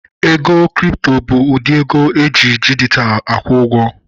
Ego kripto bụ ụdị ego eji dijitalụ akwụ ụgwọ